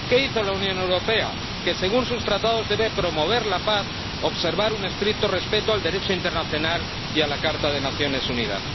¿Qué hizo la Unión Europea que, según sus Tratados, debe promover la paz, observar un estricto respeto del Derecho internacional y de la Carta de Naciones Unidas?